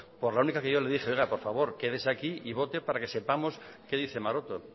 por la única que yo le dije oiga por favor quédese aquí y vote para que sepamos qué dice maroto